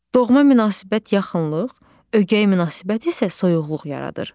Doğma münasibət yaxınlıq, ögey münasibət isə soyuqluq yaradır.